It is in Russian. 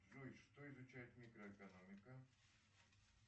джой что изучает микроэкономика